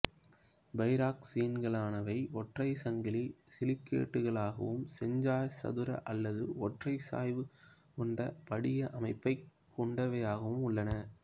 பைராக்சீன்களானவை ஒற்றை சங்கிலி சிலிகேட்டுகளாகவும் செஞ்சாய்சதுர அல்லது ஒற்றைச்சாய்வு கொண்ட படிக அமைப்பைக் கொண்டவையாகவும் உள்ளன